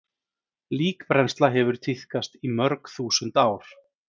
Líkbrennsla hefur tíðkast í mörg þúsund ár.